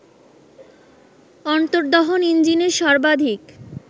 অন্তর্দহন ইঞ্জিনের সর্বাধিক